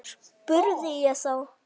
spurði ég þá.